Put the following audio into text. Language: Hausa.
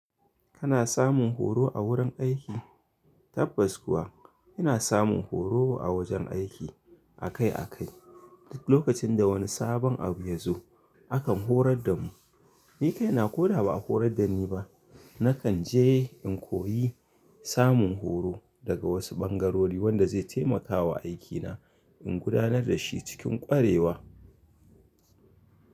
Kana samun horo a wurin aiki? Tabbas kuwa, ina samun horo a wajan aiki, akai-akai. Duk lokacin da wani sabon abu ya zo, akan horar da mu. Ni kaina ko da ba a horar da ni ba, na kan je in koyi samun horo. Daga wasu ɓangarori wanda zai taimakawa aikina, in gudanar da shi cikin ƙwarewa.